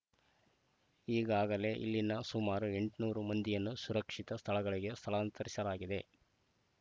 ಈಗಾಗಲೇ ಇಲ್ಲಿನ ಸುಮಾರು ಎಂಟುನೂರು ಮಂದಿಯನ್ನು ಸುರಕ್ಷಿತ ಸ್ಥಳಗಳಿಗೆ ಸ್ಥಳಾಂತರಿಸಲಾಗಿದೆ